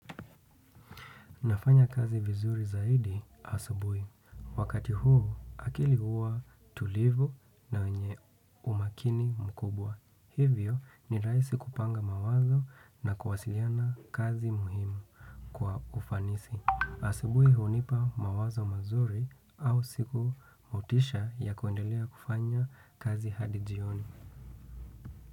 Nafanya kazi vizuri zaidi asubuhi. Wakati huu akili huwa tulivu na wenye umakini mkubwa. Hivyo ni rahisi kupanga mawazo na kuwasiliana kazi muhimu kwa ufanisi. Asubuhi hunipa mawazo mazuri au siku motisha ya kuendelea kufanya kazi hadi jioni.